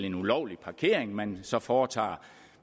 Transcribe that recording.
en ulovlig parkering man så foretager